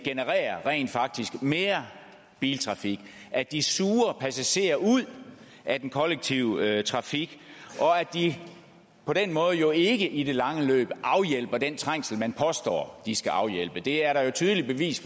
rent faktisk genererer mere biltrafik at de suger passagerer ud af den kollektive trafik og at de på den måde jo ikke i det lange løb afhjælper den trængsel man påstår de skal afhjælpe det er der jo et tydeligt bevis